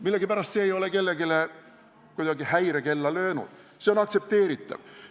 Millegipärast ei ole see kellelgi häirekella löönud, see on aktsepteeritav.